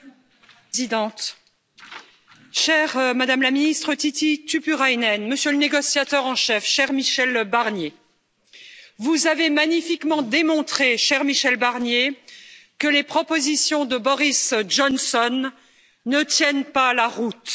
Madame la Présidente, chère Madame la ministre Tytti Tuppurainen, Monsieur le négociateur en chef, cher Michel Barnier, vous avez magnifiquement démontré, cher Michel Barnier, que les propositions de Boris Johnson ne tiennent pas la route.